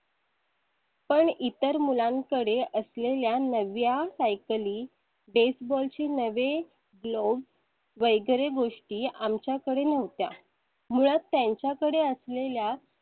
पण इतर मुलांकडे असलेल्या नव्या सायकली baseball नवे glove वगैरे गोष्टी आमच्याकडे नव्हत्या. मुळे त्यांच्याकडे असलेल्या